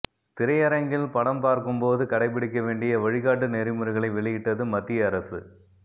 திரையரங்கில் படம் பார்க்கும்போது கடைபிடிக்க வேண்டிய வழிகாட்டு நெறிமுறைகளை வெளியிட்டது மத்திய அரசு